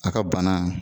A ka bana